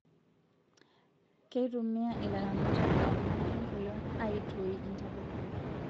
Kitumia ilaramatak ewangan enkolon aitoii intapuka